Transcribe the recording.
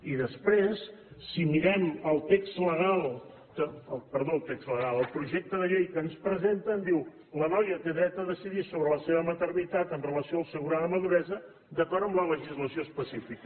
i després si mirem el projecte de llei que ens presenten diu la noia té dret a decidir sobre la seva maternitat amb relació al seu grau de maduresa d’acord amb la legislació específica